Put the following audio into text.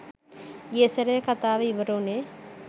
ගිය සැරේ කතාව ඉවර වුනේ